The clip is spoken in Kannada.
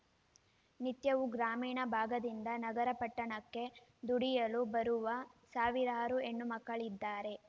ನಿತ್ಯವೂ ಗ್ರಾಮೀಣ ಭಾಗದಿಂದ ನಗರ ಪಟ್ಟಣಕ್ಕೆ ದುಡಿಯಲು ಬರುವ ಸಾವಿರಾರು ಹೆಣ್ಣು ಮಕ್ಕಳಿದ್ದಾರೆ